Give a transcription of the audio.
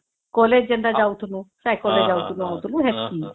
college ହେନ୍ତା ଯାଉଥିଲୁ cycle ରେ ଯାଉଥିଲୁ ଆଉଥିଲୁ ସେତକୀ